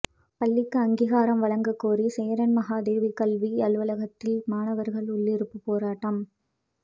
பள்ளிக்கு அங்கீகாரம் வழங்கக் கோரி சேரன்மகாதேவி கல்வி அலுவலகத்தில் மாணவர்கள் உள்ளிருப்பு போராட்டம்